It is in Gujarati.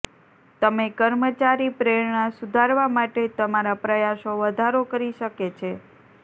તમે કર્મચારી પ્રેરણા સુધારવા માટે તમારા પ્રયાસો વધારો કરી શકે છે